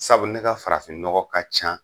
Sabu ne ka farafinnɔgɔ ka ca.